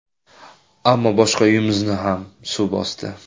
Ammo boshqa uyimizni ham suv bosdi.